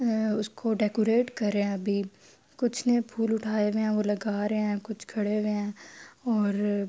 ہے اسکو ڈکوراتے کر رہے ہے۔ ابھی کچھ نے پھول اٹھے ہوئے ہے اور لگا رہے ہے کچھ کھڈے ہوئے ہے اور--